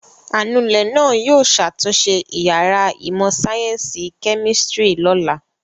Anulẹ̀ náà yóò ṣàtúnṣe ìyàrá ìmọ̀-sáyẹ́ńsì kẹ́mísítírì lọ́la.